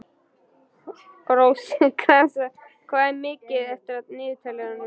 Rósinkransa, hvað er mikið eftir af niðurteljaranum?